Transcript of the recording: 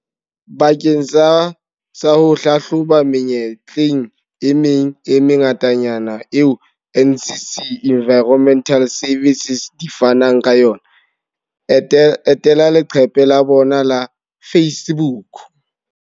Bakeng sa ho hlahloba menyetla e meng e mengatanyana eo NCC Environmental Services di fanang ka yona, etela leqephe la bona la Facebook.